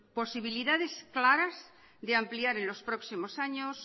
posibilidades claras de ampliar en los próximos años